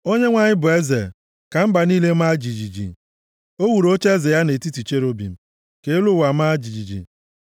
Onyenwe anyị bụ eze, ka mba niile maa jijiji! O wuru ocheeze ya nʼetiti cherubim, ka elu ụwa maa jijiji.